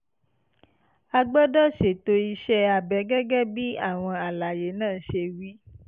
a gbọ́dọ̀ ṣètò iṣẹ́ abẹ gẹ́gẹ́ bí àwọn àlàyé náà ṣe wí